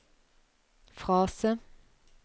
frase